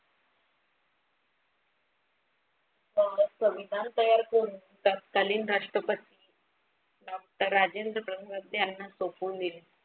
मग संविधान तयार करून तत्कालीन राष्ट्रपती डॉक्टर राजेंद्र ब्रह्मद्ये यांना सोपून दिले.